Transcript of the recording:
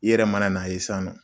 I yɛrɛ mana n'a ye sisan nɔ.